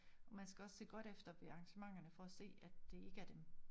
Man skal også se godt efter på arrangementerne for at se at det ikke er dem